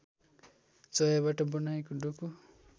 चोयाबाट बनाइएको डोको